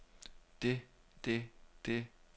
det det det